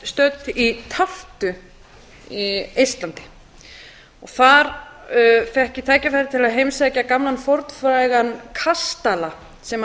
stödd í tartu í eistlandi og þar fékk ég tækifæri til að heimsækja gamlan fornfrægan kastala sem